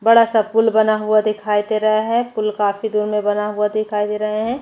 बड़ा सा पूल बना हुआ दिखाई दे रहा है पूल काफी बना हुआ है।